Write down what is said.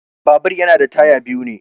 Babur yana da taya biyu ne.